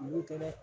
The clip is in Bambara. N'o tɛ dɛ